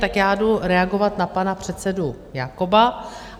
Tak já jdu reagovat na pana předsedu Jakoba.